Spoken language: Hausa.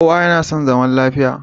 Kowa yana son zaman lafiya.